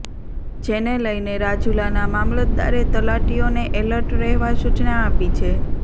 જેને લઇને રાજુલાના મામલતદારે તલાટીઓને એલર્ટ રહેવા સૂચના આપી છે